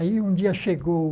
Aí um dia chegou,